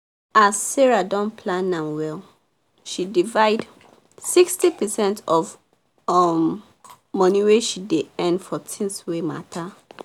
as sarah don plan m well she divide 60 percent of um money wey she dey earn for things wey matter